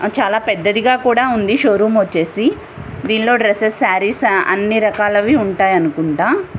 ఆ చాలా పెద్దదిగా ఉంది కూడా షో రూమ్ వచ్చేసి దీనిలో అన్ని రకాల డ్రెస్సెస్ సారీస్ అన్ని రకాలు ఉంటాయి అనుకుంటా.